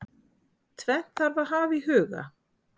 Tvennt þarf að hafa í huga.